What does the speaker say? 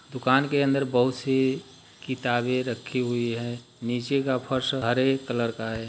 दुकान के अंदर बहोत सी किताबे रखी हुई है नीचे का फर्श हरे कलर का है।